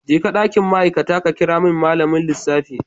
Jeka dakin ma'aikata ka kira min malamin lissafi.